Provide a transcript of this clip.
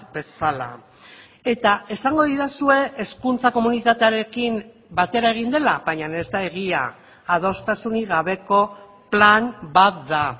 bezala eta esango didazue hezkuntza komunitatearekin batera egin dela baina ez da egia adostasunik gabeko plan bat da